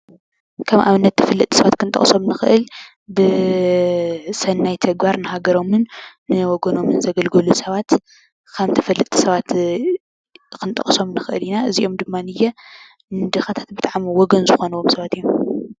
ከም ኣብነት ተፈለጥቲ ሰባት ክንጠቕሶም ንኽእል ብሰናይ ተግባር ንሃገሮምን ንወገኖምን ዘገልገሉ ሰባት ከም ተፈለጥቲ ሰባት ክንጠቕሶም ንኽእል ኢና፡፡ እዚኦም ድማ ንድኻታት ብጣዕሚ ወገን ዝኾንዎም ሰባት እዮም፡፡